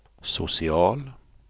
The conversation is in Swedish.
social